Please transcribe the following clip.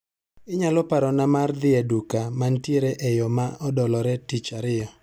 Inyalo parona mar dhi e duka mantiere e yoo ma odolore tich ariyo.